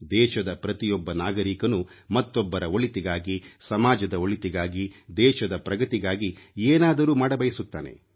ದೇಶದ ಪ್ರತಿಯೊಬ್ಬ ನಾಗರಿಕನೂ ಮತ್ತೊಬ್ಬರ ಒಳಿತಿಗಾಗಿ ಸಮಾಜದ ಒಳಿತಿಗಾಗಿ ದೇಶದ ಪ್ರಗತಿಗಾಗಿ ಏನಾದರೂ ಮಾಡಬಯಸುತ್ತಾನೆ